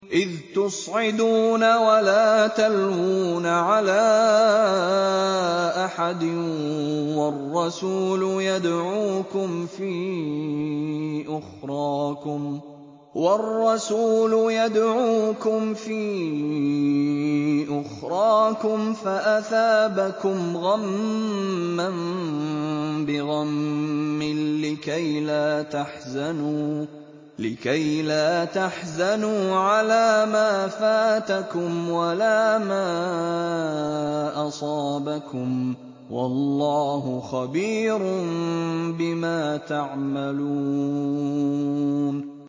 ۞ إِذْ تُصْعِدُونَ وَلَا تَلْوُونَ عَلَىٰ أَحَدٍ وَالرَّسُولُ يَدْعُوكُمْ فِي أُخْرَاكُمْ فَأَثَابَكُمْ غَمًّا بِغَمٍّ لِّكَيْلَا تَحْزَنُوا عَلَىٰ مَا فَاتَكُمْ وَلَا مَا أَصَابَكُمْ ۗ وَاللَّهُ خَبِيرٌ بِمَا تَعْمَلُونَ